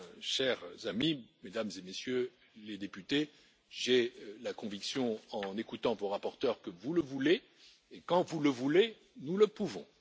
Chers amis, Mesdames et Messieurs les députés, j'ai la conviction, en écoutant vos rapporteurs, que vous le voulez et, quand vous le voulez, nous le pouvons.